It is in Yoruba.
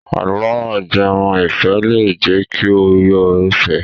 Àlọ́ ajẹmọ́-ìfẹ́ lè jẹ́ kí o yó fẹ̀ẹ́.